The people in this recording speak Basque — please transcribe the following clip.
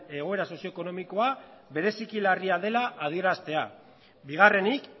egoera sozio ekonomikoa bereziki larria dela adieraztea bigarrenik